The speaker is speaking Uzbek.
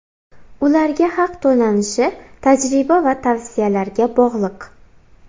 Ularga haq to‘lanishi tajriba va tavsiyalarga bog‘liq.